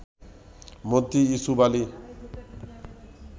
Mantri Yusuf Ali